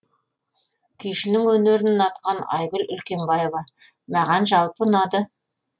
күйшінің өнерін ұнатқан айгүл үлкенбаева маған жалпы ұнады